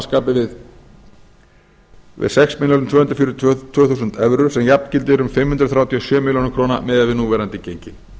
skapi við sex þúsund tvö hundruð fjörutíu og tvö þúsund evrur sem jafngildir um fimm hundruð þrjátíu og sjö milljónir króna miðað við núverandi gengi